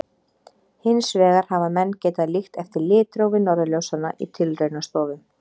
Hins vegar hafa menn getað líkt eftir litrófi norðurljósanna í tilraunastofum.